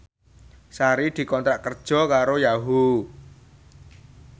Sari dikontrak kerja karo Yahoo!